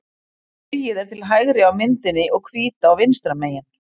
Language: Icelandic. Sogið er til hægri á myndinni og Hvítá vinstra megin.